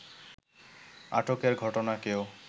আটকের ঘটনাকেও